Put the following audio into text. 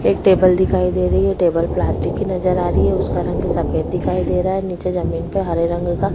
एक टेबल दिखाई दे रही है टेबल प्लास्टिक की नजर आ रही है उसका रंग सफ़ेद दिखाई दे रहा है नीचे जमीन पर हरे रंग का --